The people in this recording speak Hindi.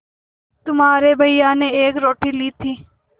तुम्हारे भैया ने एक रोटी ली थी